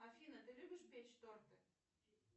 афина ты любишь печь торты